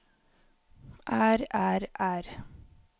er er er